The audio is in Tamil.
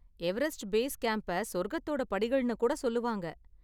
எவரெஸ்ட் பேஸ் கேம்ப்ப சொர்க்கத்தோட படிகள்னு கூட சொல்லுவாங்க.